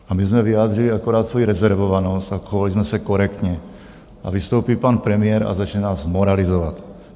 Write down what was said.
A my jsme vyjádřili akorát svoji rezervovanost a chovali jsme se korektně, a vystoupí pan premiér a začne nás moralizovat.